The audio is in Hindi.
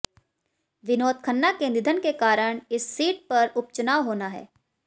विनोद खन्ना के निधन के कारण इस सीट पर उपचुनाव होना है